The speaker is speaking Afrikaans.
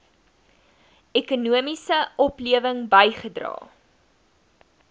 ekonomiese oplewing bygedra